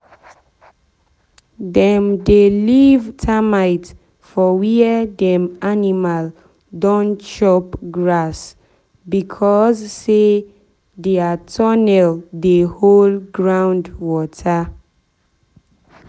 dem dey leave termite for where dem animal don chop grass because say dia tunnel dey hold ground water.